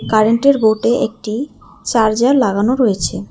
কারেন্টের বোর্টে একটি চার্জার লাগানো রয়েছে।